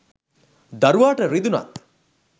දරුවාට රිදුනත්,